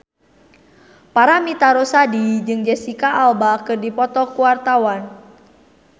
Paramitha Rusady jeung Jesicca Alba keur dipoto ku wartawan